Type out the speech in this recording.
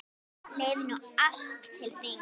Leið nú allt til þings.